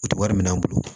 O tɛ wari minɛ an bolo